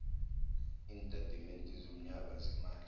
iintatimende zonyaka zeemali